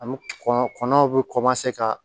Ani kɔnɔn bɛ ka